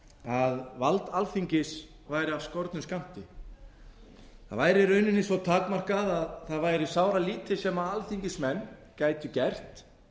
að vald alþingis væri af skornum skammti það væri í rauninni svo takmarkað að það væri sáralítið sem alþingismenn gætu gert